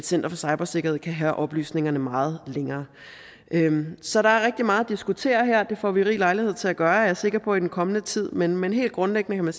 center for cybersikkerhed kan have oplysningerne meget længere så der er rigtig meget at diskutere her og det får vi rig lejlighed til at gøre er jeg sikker på i den kommende tid men men helt grundlæggende